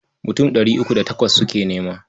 Mutum ɗari uku da takwas suke nema.